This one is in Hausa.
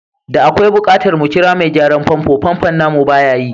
Da akwai bukatar mu kira mai gyaran famfo, famfon namu baya yi.